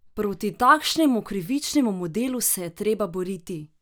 Proti takšnemu krivičnemu modelu se je treba boriti!